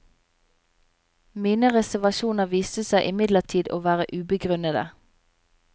Mine reservasjoner viste seg imidlertid å være ubegrunnede.